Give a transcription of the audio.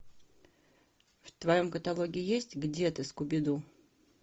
в твоем каталоге есть где ты скуби ду